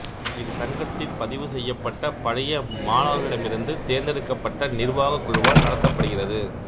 இது சங்கத்தின் பதிவு செய்யப்பட்ட பழைய மாணவர்களிடமிருந்து தேர்ந்தெடுக்கப்பட்ட நிர்வாகக் குழுவால் நடத்தப்படுகிறது